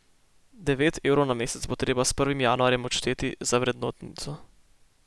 Devet evrov na mesec bo treba s prvim januarjem odšteti za vrednotnico.